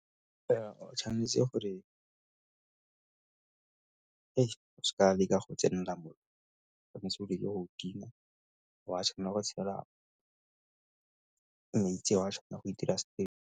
O tshwanetse gore o se ka wa leka go tsenela mo, o tshwanetse o be le ga o a tshwanela go tshela ga o a tshwanela go itira .